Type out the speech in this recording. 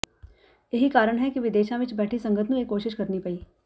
ਇਹੀ ਕਾਰਨ ਹੈ ਕਿ ਵਿਦੇਸ਼ਾਂ ਵਿੱਚ ਬੈਠੀ ਸੰਗਤ ਨੂੰ ਇਹ ਕੋਸ਼ਿਸ਼ ਕਰਨੀ ਪਈ